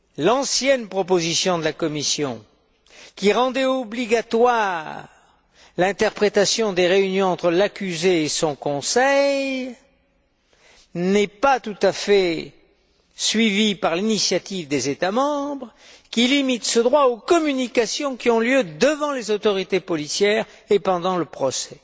L'ancienne proposition de la Commission, qui rendait obligatoire l'interprétation des réunions entre l'accusé et son conseil, n'est pas tout à fait suivie par l'initiative des États membres, qui limite ce droit aux communications qui ont lieu devant les autorités policières et pendant le procès.